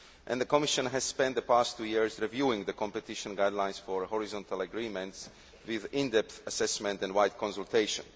The Commission has spent the past two years reviewing the competition guidelines for horizontal agreements, with in depth assessment and wide consultation.